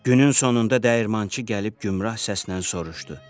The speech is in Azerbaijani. Günün sonunda dəyirmançı gəlib gümbrah səslə soruşdu: